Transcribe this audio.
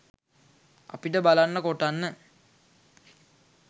අපිට බලන්න කොටන්න